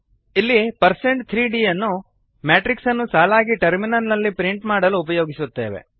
ಇಲ್ಲಿ1603dಪರ್ಸೆಂಟ್ three D ಯನ್ನು matrix ಅನ್ನು ಸಾಲಾಗಿ ಟರ್ಮಿನಲ್ ನಲ್ಲಿ ಪ್ರಿಂಟ್ ಮಾಡಲು ಉಪಯೋಗಿಸುತ್ತೇವೆ